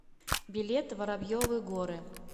билет воробьевы горы